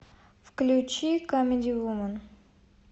включи камеди вумен